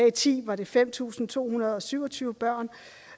og ti var det fem tusind to hundrede og syv og tyve børn